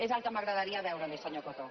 és el que m’agradaria veure li senyor coto